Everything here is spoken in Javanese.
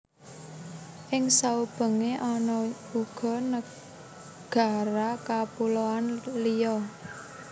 Ing saubengé ana uga nagara kapuloan liya